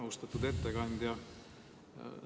Austatud ettekandja!